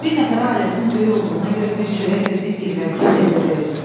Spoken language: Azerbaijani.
Bir nəfərə ailəsinin böyük olduğuna görə bir çörək və bir girvənkə pendir verdik.